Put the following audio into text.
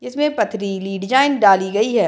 इसमें पत्थरीली डिज़ाइन डाली गई है।